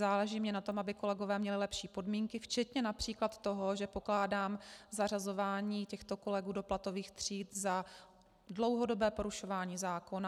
Záleží mně na tom, aby kolegové měli lepší podmínky, včetně například toho, že pokládám zařazování těchto kolegů do platových tříd za dlouhodobé porušování zákona.